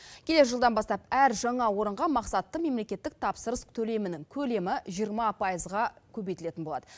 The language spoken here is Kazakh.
келер жылдан бастап әр жаңа орынға мақсатты мемлекеттік тапсырыс төлемінің көлемі жиырма пайызға көбейтілетін болады